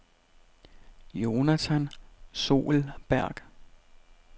Jonatan Soelberg